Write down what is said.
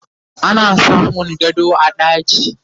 ana samun gado a ɗaki